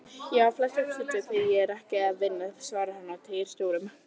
Já, flestum stundum þegar ég er ekki að vinna, svarar hann og teygar stórum.